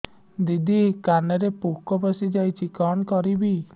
ଦିଦି କାନରେ ପୋକ ପଶିଯାଇଛି କଣ କରିଵି